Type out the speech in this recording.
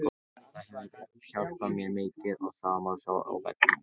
Það hefur hjálpað mér mikið og það má sjá á vellinum.